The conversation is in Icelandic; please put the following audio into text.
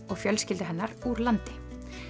og fjölskyldu hennar úr landi